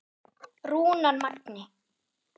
Rúnar Magni.